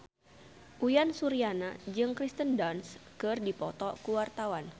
Uyan Suryana jeung Kirsten Dunst keur dipoto ku wartawan